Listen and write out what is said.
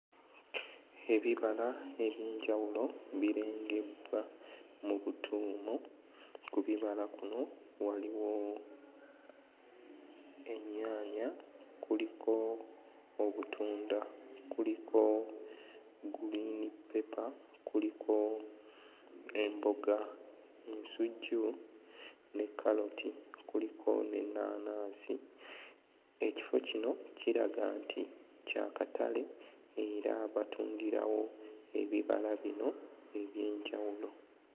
Ebibala eby'enjawulo birengebbwa mu butuumu ku bibala kuno waliwo ennyaanya kuliko obutunda, kuliko gguliinippepa, kuliko emboga, ensujju, ne kkaloti, kuliko n'ennaanansi. Ekifo kino kiraga nti kya katale era batundirawo ebibala bino eby'enkawulo.